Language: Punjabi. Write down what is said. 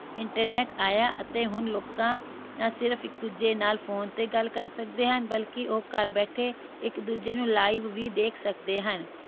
internet ਆਇਆ ਅਤੇ ਹੁਣ ਲੋਕਾਂ ਨਾ ਸਿਰਫ ਇੱਕ ਦੂਜੇ ਨਾਲ phone ਤੇ ਗੱਲ ਕਰ ਸਕਦੇ ਹਨ ਬਲਕਿ ਉਹ ਘਰ ਬੈਠੇ ਇਕ ਦੂਜੇ ਨੂੰ live ਵੀ ਦੇਖ ਸਕਦੇ ਹਨ